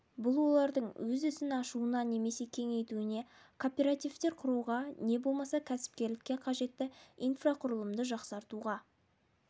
бұл олардың өз ісін ашуына немесе кеңейтуіне кооперативтер құруға не болмаса кәсіпкерлікке қажетті инфрақұрылымды жақсартуға